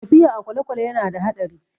Tafiya a kwalekwale ya na da haɗari